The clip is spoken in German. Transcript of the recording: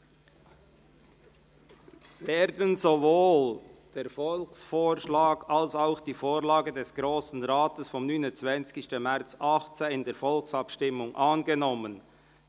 sich haben: «Werden sowohl der Volksvorschlag als auch die Vorlage des Grossen Rates vom 29. März 2018 in der Volksabstimmung angenommen,